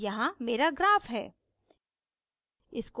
यहाँ here graph है